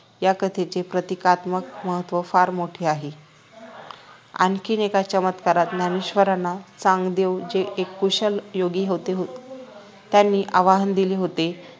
या कथेचे प्रतीकात्मक महत्व फार मोठे आहे आणखी एक चमत्कारात ज्ञानेश्वरांना चांगदेव जे एक कुशल योगी होते त्यांनी आव्हान दिले होते